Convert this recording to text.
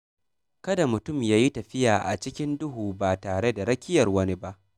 Kada mutum ya yi tafiya a cikin duhu ba tare da rakiyar wani ba.